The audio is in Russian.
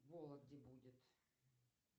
в вологде будет